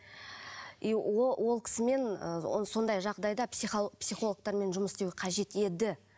и ол ол кісімен сондай жағдайда психологтармен жұмыс істеу қажет еді